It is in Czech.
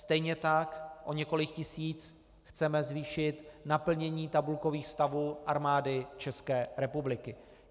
Stejně tak o několik tisíc chceme zvýšit naplnění tabulkových stavů Armády České republiky.